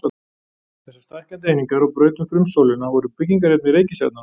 Þessar stækkandi einingar á braut um frumsólina voru byggingarefni reikistjarnanna.